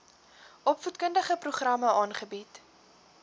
opvoedkundige programme aanbied